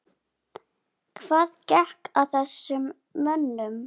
Hvað gekk að þessum mönnum?